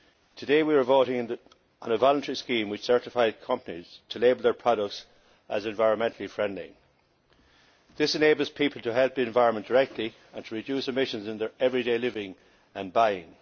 Today we are voting on a voluntary scheme which certifies companies to label their products as environmentally friendly. This enables people to help the environment directly and to reduce emissions in their everyday living and buying.